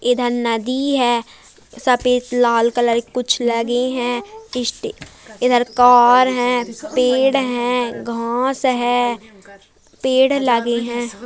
इधर नदी है सफेद लाल कलर कुछ लगे हैं इधर कार है पेड़ हैं घास है पेड़ लगे हैं।